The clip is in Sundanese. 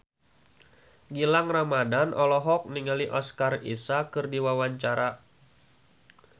Gilang Ramadan olohok ningali Oscar Isaac keur diwawancara